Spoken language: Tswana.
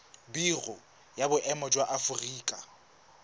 biro ya boemo ya aforika